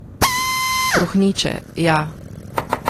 Trohneče, ja.